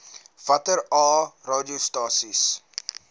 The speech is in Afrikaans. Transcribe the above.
watter aa radiostasies